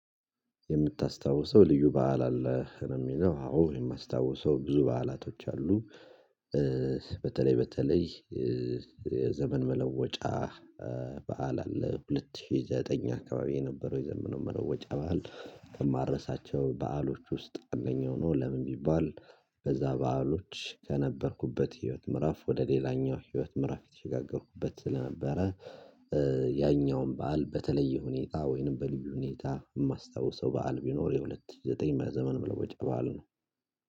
የምታስታውሰው ልዩ በዓል አለ ነው የሚለው፤ አዎ፣ የማስታውሰው ብዙ በዓላቶች አሉ። በተለይ በተለይ የዘመን መለወጫ በዓል አለ፤ ሁለት ሺህ ዘጠኝ አካባቢ የነበረው የዘመኑ መለወጫ በዓል ከማረሳቸው በዓሎች ውስጥ አንደኛው ነው። ለምን ቢባል በዛ በዓሎች ከነበርኩበት ህይወት ምዕራፍ ወደ ሌላኛው ህይወት ምዕራፍ የተሸጋገርኩበት ስለነበረ ያኛውን በዓል በተለየ ሁኔታ ወይንም በልዩ ሁኔታ የማስታውሰው በዓል ቢኖር የሁለት ሽ ዘጠኝ በዘመን መለወጥ በዓል ነው።